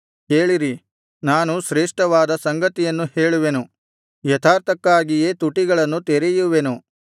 ಕೇಳಿರಿ ನಾನು ಶ್ರೇಷ್ಠವಾದ ಸಂಗತಿಗಳನ್ನು ಹೇಳುವೆನು ಯಥಾರ್ಥಕ್ಕಾಗಿಯೇ ತುಟಿಗಳನ್ನು ತೆರೆಯುವೆನು